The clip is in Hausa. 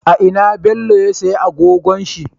A ina bello ya siya agogon shi?